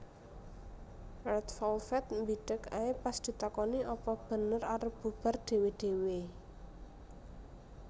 Red Velvet mbideg ae pas ditakoni apa bener arep bubar dhewe dhewe